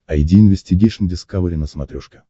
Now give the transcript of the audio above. айди инвестигейшн дискавери на смотрешке